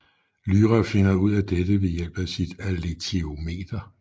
Lyra finder ud af dette ved hjælp af sit alethiometer